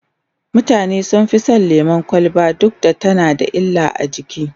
mutane sun Fi San lemun kwalba duk da tana da illa a jiki